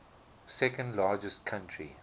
second largest country